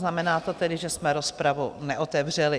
Znamená to tedy, že jsme rozpravu neotevřeli.